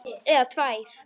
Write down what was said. Eða tvær.